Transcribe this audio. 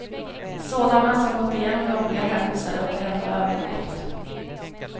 Sådana som gått igenom jobbiga händelser, och ändå överlevt.